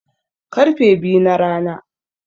Karfe biyu na rana